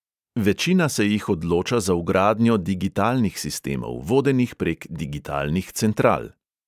Večina se jih odloča za vgradnjo digitalnih sistemov, vodenih prek digitalnih central.